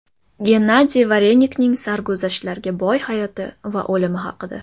Gennadiy Varenikning sarguzashtlarga boy hayoti va o‘limi haqida.